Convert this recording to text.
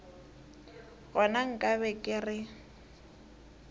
gona nka be ke re